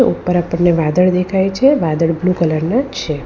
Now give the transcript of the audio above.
ઉપર આપણને વાદળ દેખાય છે વાદળ બ્લુ કલર ના છે.